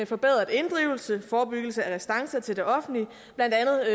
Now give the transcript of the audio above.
forbedret inddrivelse forebyggelse af restancer til det offentlige blandt andet